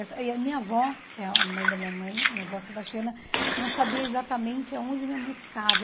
Essa e a minha avó, que é a mãe da minha mãe, minha avó Sebastiana, não sabia exatamente aonde minha mãe ficava.